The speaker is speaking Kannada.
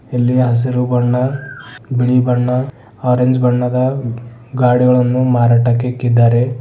ಇಲ್ಲಿ ಹಸಿರು ಬಣ್ಣ ಬಿಳಿ ಬಣ್ಣ ಆರೆಂಜ್ ಬಣ್ಣದ ಗಾಡಿಗಳನ್ನು ಮಾರಾಟಕ್ಕೆ ಇಕ್ಕಿದ್ದಾರೆ.